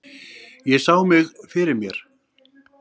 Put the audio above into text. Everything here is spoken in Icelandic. Ég sá mig fyrir mér.